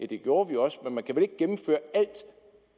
det gjorde vi jo også